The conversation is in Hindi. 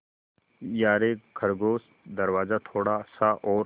यारे खरगोश दरवाज़ा थोड़ा सा और